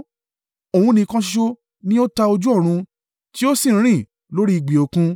Òun nìkan ṣoṣo ni ó ta ojú ọ̀run, ti ó sì ń rìn lórí ìgbì Òkun.